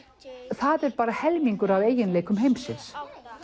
það er bara helmingu af eiginleikum heimsins